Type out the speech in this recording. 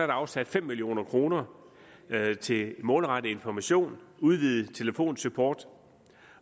afsat fem million kroner til målrettet information udvidet telefonsupport